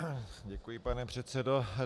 Děkuji, pane předsedo.